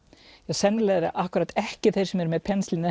sennilega eru akkúrat ekki þeir sem eru með pensilín eða